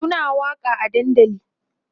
Suna waƙa a dandali